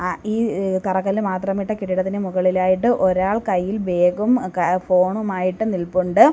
ഈ തറകല്ല് മാത്രമിട്ട കെട്ടിടത്തിൻ്റെ മുകളിലായിട്ട് ഒരാൾ കയ്യിൽ ബേഗും ഫോണുമായിട്ട് നിൽപ്പുണ്ട്.